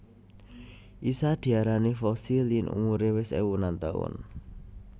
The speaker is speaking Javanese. Isa diarani fosil yen umure wis ewunan taun